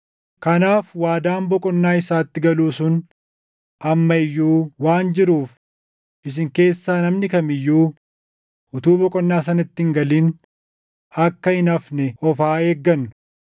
Kanaaf waadaan boqonnaa isaatti galuu sun amma iyyuu waan jiruuf isin keessaa namni kam iyyuu utuu boqonnaa sanatti hin galin akka hin hafne of haa eeggannu.